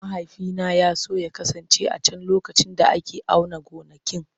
Mahaifina ya so ya kasance a can lokacin da ake auna gonakin.